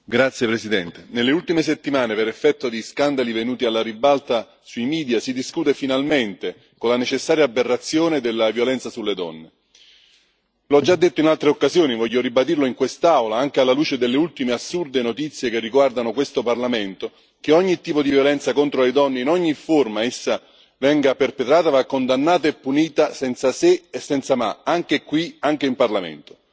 Signora Presidente, onorevoli colleghi, nelle ultime settimane, per effetto di scandali venuti alla ribalta sui media, si discute finalmente con la necessaria aberrazione della violenza sulle donne. L'ho già detto in altre occasioni e voglio ribadirlo in quest'Aula, anche alla luce delle ultime assurde notizie che riguardano questo Parlamento ogni tipo di violenza contro le donne, in ogni forma essa venga perpetrata, va condannata e punita senza se e senza ma, anche qui, anche in Parlamento.